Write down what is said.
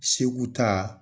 Segu ta